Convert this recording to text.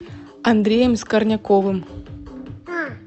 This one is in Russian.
андреем скорняковым